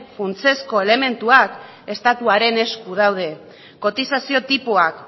funtsezko elementuak estatuaren esku daude kotizazio tipoak